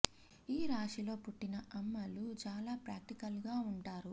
ఈ రాశి లో పుట్టిన అమ్మలు చాలా ప్రాక్టికల్ గా ఉంటారు